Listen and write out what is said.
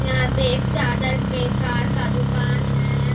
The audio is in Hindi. यहाँ पे एक चादर पे कार का दुकान हैं।